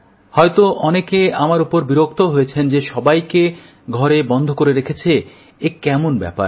হয়ত অনেকে আমার ওপর বিরক্তও হয়েছেন যে সবাইকে ঘরে বন্ধ করে রেখেছে এ কেমন ব্যাপার